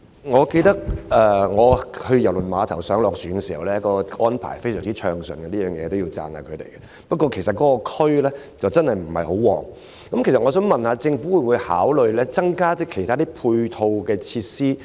我記得我以往在郵輪碼頭上下船時，安排非常暢順，這方面我要稱讚一下，但該區真的不暢旺，我想問政府會否考慮增加其他配套設施？